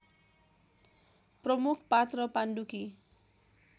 प्रमुख पात्र पाण्डुकी